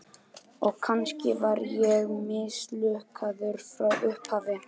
Og kannski var ég mislukkaður frá upphafi.